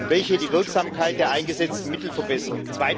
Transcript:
welche die Wirksamkeit der eingesetzten Mittel verbessern.